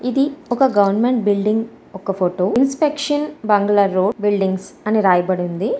ఇది ఒక government building ఒక ఫోటో ఇన్స్ట్రక్షన్ బంగ్లా రోడ్ బిల్డింగ్స్ అని రాయబడి ఉంది.